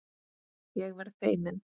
Ég verð feimin.